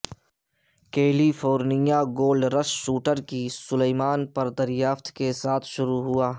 کیلی فورنیا gold rush Sutter کی سلیمان پر دریافت کے ساتھ شروع ہوا